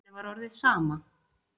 Henni var orðið sama.